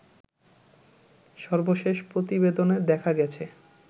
সর্বশেষ প্রতিবেদনে দেখা গেছে